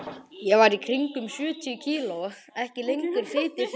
Ég var í kringum sjötíu kíló, ekki lengur fituhlunkur.